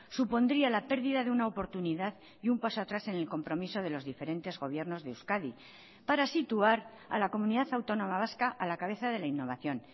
supondría la pérdida de una oportunidad y un paso atrás en el compromiso de los diferentes gobiernos de euskadi para situar a la comunidad autónoma vasca a la cabeza de la innovación